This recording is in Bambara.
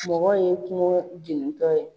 Mɔgɔw ye kungo jeni tɔ ye.